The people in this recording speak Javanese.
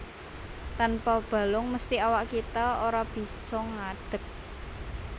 Tanpa balung mesthi awak kita ora bisa ngadeg